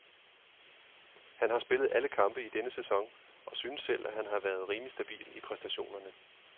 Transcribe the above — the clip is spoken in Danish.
Han har spillet alle kampe i denne sæson og synes selv, at han har været rimelig stabil i præstationerne.